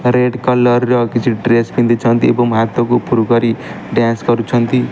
Red colour ର କିଛି dress ପିନ୍ଧିଛନ୍ତି ଏବଂ ହାତକୁ ଉପୁରୁ କରି ଡ୍ଯାନ୍ସ କରୁଛନ୍ତି।